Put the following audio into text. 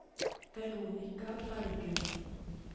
Veronica Bergum